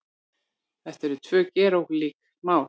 Þetta eru tvö gerólík mál